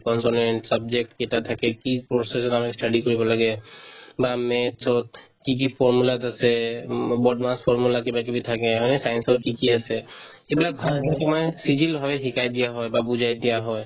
consonant subject কেইটা থাকে কি process ত আমাৰ study কৰিব লাগে বা maths ত কি কি formulas আছে উম BODMAS formula কিবাকিবি থাকে হয়নে science ত কি কি আছে এইবিলাক ভাগ লৈ তোমাৰ চিজিল হৈ শিকাই দিয়া হয় বা বুজাই দিয়া হয়